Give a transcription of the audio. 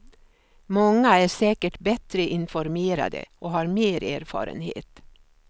Många är säkert bättre informerade och har mer erfarenhet.